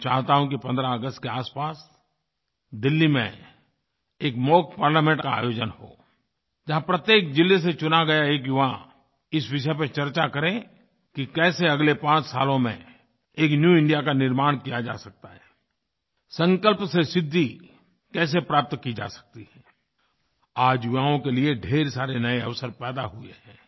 मैं चाहता हूँ कि 15 अगस्त के आसपास दिल्ली में एक मॉक पार्लामेंट का आयोजन हो जहाँ प्रत्येक ज़िले से चुना गया एक युवा इस विषय पर चर्चा करे कि कैसे अगले पाँच सालों में एक न्यू इंडिया का निर्माण किया जा सकता है संकल्प से सिद्धि कैसे प्राप्त की जा सकती है आज युवाओं के लिए ढ़ेर सारे नये अवसर पैदा हुए हैं